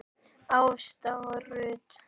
Ásta Rut.